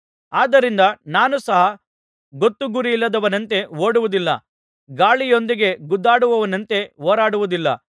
ಆದ್ದರಿಂದ ನಾನು ಸಹ ಗೊತ್ತುಗುರಿಯಿಲ್ಲದವನಂತೆ ಓಡುವುದಿಲ್ಲ ಗಾಳಿಯೊಂದಿಗೆ ಗುದ್ದಾಡುವವನಂತೆ ಹೋರಾಡುವುದಿಲ್ಲ